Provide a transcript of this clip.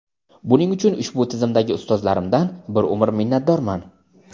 Buning uchun ushbu tizimdagi ustozlarimdan bir umr minnatdorman.